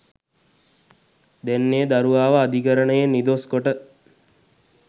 දැන් ඒ දරුවාව අධිකරණයෙන් නිදොස්‌ කොට